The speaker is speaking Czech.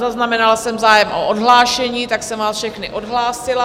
Zaznamenala jsem zájem o odhlášení, tak jsem vás všechny odhlásila.